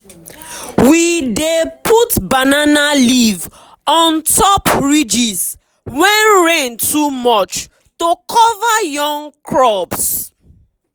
we dey put banana leaf on top ridges when rain too much to cover young crops.